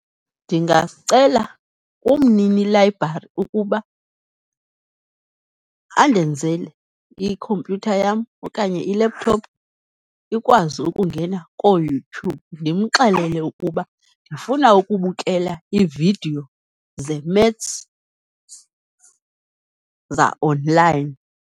Ndingacela umnini layibrari ukuba andenzele ikhompyutha yam okanye i-laptop ikwazi ukungena kooYoutube, ndimxelele ukuba ndifuna ukubukela iividiyo zeMaths za-online.